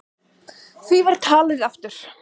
Því var talið aftur.